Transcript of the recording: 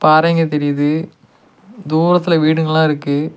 பாறைங்க தெரியுது தூரத்துல வீடுங்கலா இருக்கு.